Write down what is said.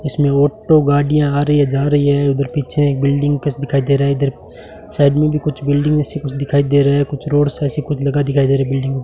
इसमें ऑटो गाड़ियां आ रही है जा रही है उधर पीछे एक बिल्डिंग कस दिखाई दे रहा है इधर साइड में भी कुछ बिल्डिंग सी कुछ दिखाई दे रहा है कुछ रोड सा ऐसे कुछ लगा दिखाई दे रहा है बिल्डिंग --